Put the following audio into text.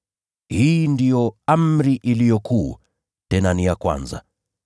Hii ndiyo amri iliyo kuu, tena ni ya kwanza.